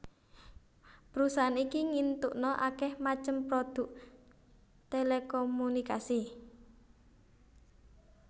Perusahaan iki ngintukna akeh macem produk telekomunikasi